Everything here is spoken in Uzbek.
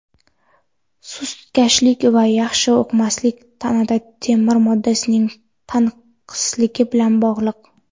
sustkashlik va yaxshi o‘qimaslik tanada temir moddasining tanqisligi bilan bog‘liq.